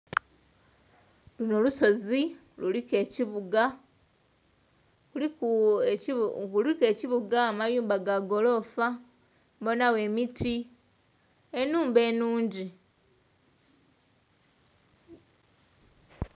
Luno lusozi luliku ekibuuga, amayumba ga goloofa, mbonawo emiti, enhumba enungi